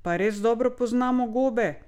Pa res dobro poznamo gobe?